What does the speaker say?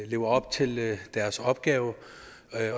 lever op til deres opgave